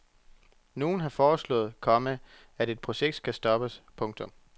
Nogen har foreslået, komma at projektet skal stoppes. punktum